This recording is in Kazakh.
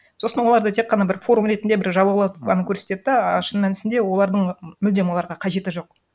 сосын оларды тек қана бір форум ретінде бір жалаулатып ғана көрсетеді да а шың мәнісінде олардың мүлдем оларға қажеті жоқ